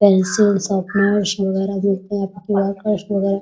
Pencil sharpeners वगेरा मिलते हैं ।